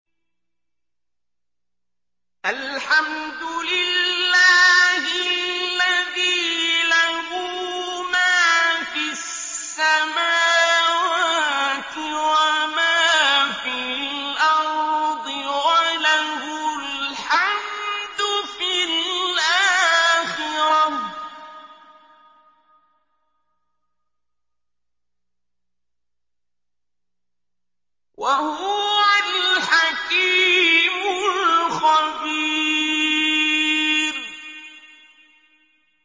الْحَمْدُ لِلَّهِ الَّذِي لَهُ مَا فِي السَّمَاوَاتِ وَمَا فِي الْأَرْضِ وَلَهُ الْحَمْدُ فِي الْآخِرَةِ ۚ وَهُوَ الْحَكِيمُ الْخَبِيرُ